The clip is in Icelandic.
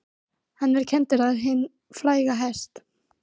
Hann er kenndur við hinn fræga hest